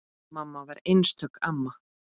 Mamma var einstök amma.